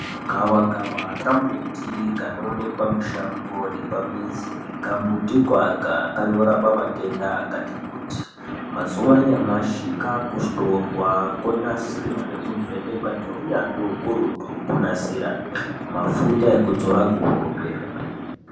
Gavakava kambuti kanoonekwa mushango nepamizi. Kambutiko aka kanorapa matenda akati- kuti. Mazuwa anyamashi kakuhlorwa konasirwa nekuvhenekwa ngeunyanzvi ukurutu kunasira mafuta ekudzora kuhope.